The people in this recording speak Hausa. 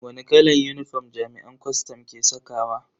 Wani kalan unifom jami'an kwastam ke sakawa?